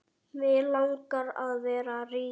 Mig langar að vera rík.